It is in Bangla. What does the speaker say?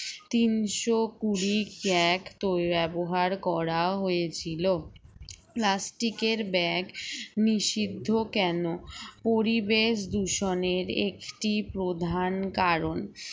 তিনশো কুড়ি crack তো ব্যবহার করা হয়েছিল plastic এর bag নিষিদ্ধ কেন পরিবেশ দূষণের একটি প্রধান কারণ